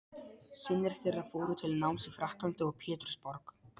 Synir þeirra fóru til náms í Frakklandi og Pétursborg.